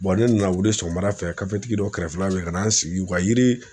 ne nana wuli sɔgɔmada fɛ kafetigi dɔ kɛrɛfɛla la ka na n sigi u ka yiri